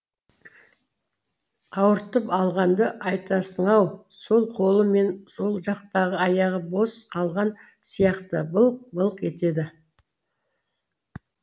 ауыртып алғанды айтасың ау сол қолы мен сол жақтары аяғы бос қалған сияқты былқ былқ етеді